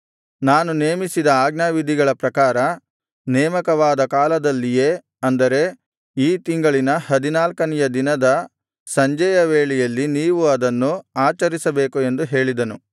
ನಾನು ನೇಮಿಸಿದ ಆಜ್ಞಾವಿಧಿಗಳ ಪ್ರಕಾರ ನೇಮಕವಾದ ಕಾಲದಲ್ಲಿಯೇ ಅಂದರೆ ಈ ತಿಂಗಳಿನ ಹದಿನಾಲ್ಕನೆಯ ದಿನದ ಸಂಜೆಯ ವೇಳೆಯಲ್ಲಿ ನೀವು ಅದನ್ನು ಆಚರಿಸಬೇಕು ಎಂದು ಹೇಳಿದನು